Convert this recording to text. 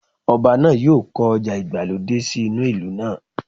Ọba náà yóò kọ́ ọjà ìgbàlódé sí inú ìlú náà